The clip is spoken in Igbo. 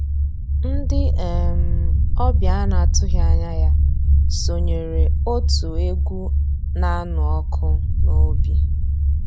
Ndị́ um ọ̀bịá á ná-àtụ́ghị́ ànyá yá sonyééré ótú égwu ná-ànụ́ ọ́kụ́ n'òbí.